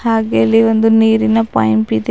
ಹಾಗೆಯೆ ಇಲ್ಲಿ ಒಂದು ನೀರಿನ ಪೈಂಪ್ ಇದೆ.